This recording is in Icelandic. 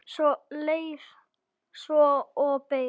Leið svo og beið.